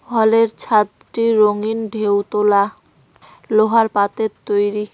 হলের ছাদটি রঙীন ঢেউ তোলা লোহার পাতের তৈরি।